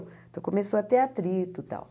Então começou a ter atrito e tal.